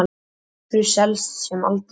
Lúxus selst sem aldrei fyrr